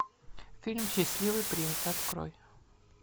фильм счастливый принц открой